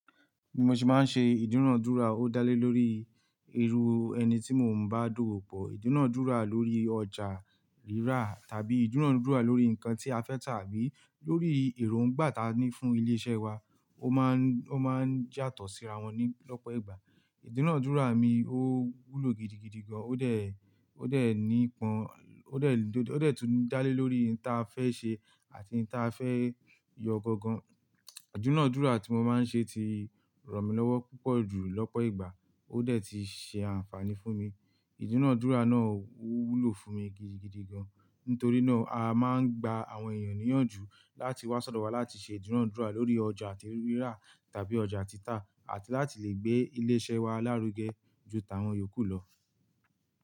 Bí mo ṣe máa ń ṣe ìdúnàádúrà, ó dá lé lórí ẹrú ẹni tí mò ń bá dowo pọ̀, ìdúnàádúrà lórí ọjà rírà tàbí ìdúnàádúrà lórí nǹkan tí a fẹ́ tà abí lórí èròǹgbà táa ní fún ilé iṣẹ́ wa. Ó máa ń, ó máa ń yatọ̀ síra wọn ní lọ́pọ̀ ìgbà. Ìdúnàádúrà mi ó wúlò gidigidi gan, ó dẹ̀, ó dẹ̀ ní pọn, ó dẹ̀, ó dẹ̀ tún dá lé lórí n tí a fẹ́ ṣe àti n tí a fẹ́ yọ gangan. Ìdúnàádúrà tí mo máa ń ṣe ti ràn mí lọ́wọ́ púpọ̀ jù lọ́pọ̀ ìgbà. Ó dẹ̀ ti ṣe àǹfààní fún mi. Ìdúnàádúrà náà ó wúlò fún mi gidigidi gan. Nítorí náà, a máa ń gba àwọn ènìyàn níyànjú láti wá sodo wa láti ṣe ìdúnàádúrà lórí ọjà ti rírà tàbí ọjà títa àti láti lè gbé ilé iṣẹ́ wa lárugẹ ju táwọn iyòókù lọ.